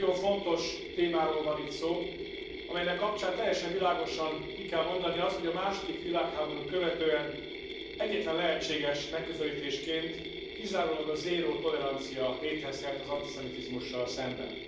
Ma egy nagyon fontos témáról van itt szó, amelynek kapcsán teljesen világosan ki kell mondani azt, hogy a második világháborút követően egyetlen lehetséges megközelítésként kizárólag a zéró tolerancia létezhet az antiszemitizmussal szemben.